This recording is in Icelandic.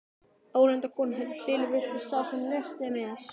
Ónefnd kona: Heyrðu Hlynur, viltu hafa smá nesti með?